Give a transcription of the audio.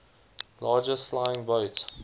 largest flying boat